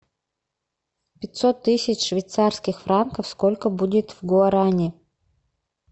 пятьсот тысяч швейцарских франков сколько будет в гуарани